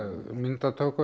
myndatöku